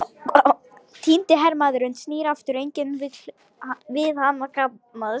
Týndi hermaðurinn snýr aftur, en enginn vill við hann kannast.